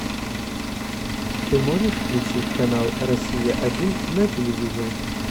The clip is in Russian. ты можешь включить канал россия один на телевизоре